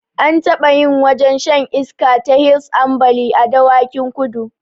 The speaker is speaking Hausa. An taɓa yin wajen shan iska ta hils ambali a dawakin kudu